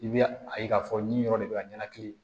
I bɛ a ye k'a fɔ nin yɔrɔ de bɛ ka ɲɛnakili